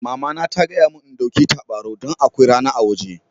Mama na ta gaya mun n'ɗauki tabarau dan akwai rana a woje.